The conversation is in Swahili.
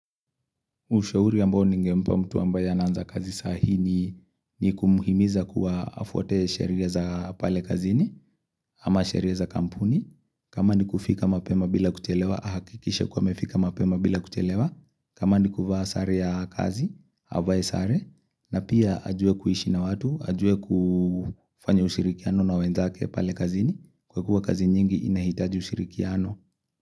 Ushauri ambao ningempa mtu ambaye anaanza kazi saa hii ni kumhimiza kuwa afuate sheria za pale kazini ama sheria za kampuni. Kama ni kufika mapema bila kutelewa, ahakikishe kuwa amefika mapema bila kutelewa. Kama ni kuvaa sare ya kazi, avaye sare, na pia ajue kuhishi na watu, ajue kufanya ushirikiano na wendake pale kazini. Kwa kuwa kazi nyingi inahitaji ushirikiano.